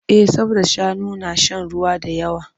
Eh saboda shanu na shan ruwa da yawa.